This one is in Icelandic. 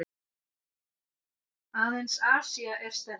Aðeins Asía er stærri.